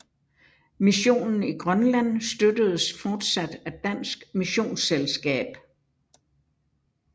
Missionen i Grønland støttedes fortsat af Dansk Missionsselskab